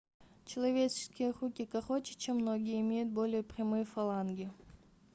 человеческие руки короче чем ноги и имеют более прямые фаланги